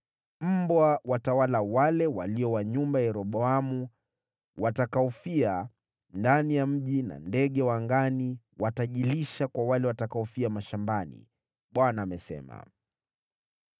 Mbwa watawala wale walio wa nyumba ya Yeroboamu watakaofia ndani ya mji na ndege wa angani watajilisha kwa wale watakaofia mashambani. Bwana amesema!’